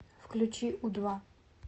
включи у два